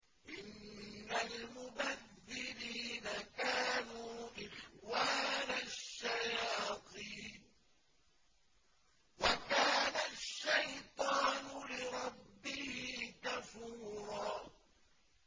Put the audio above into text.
إِنَّ الْمُبَذِّرِينَ كَانُوا إِخْوَانَ الشَّيَاطِينِ ۖ وَكَانَ الشَّيْطَانُ لِرَبِّهِ كَفُورًا